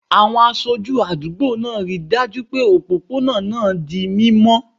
Àwọn aṣáájú àdúgbò náà rí i dájú pé òpópónà náà di mímọ́